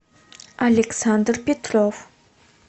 александр петров